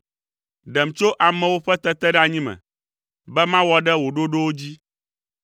Ɖem tso amewo ƒe teteɖeanyi me, be mawɔ ɖe wò ɖoɖowo dzi.